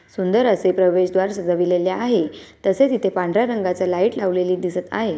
सुंदर असे प्रवेशद्वार सजविलेले आहे तसेच इथे पांढऱ्या रंगाचे लाईट लावलेले दिसत आहे.